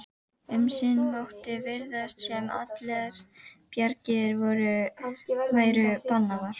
Um sinn mátti virðast sem allar bjargir væru bannaðar.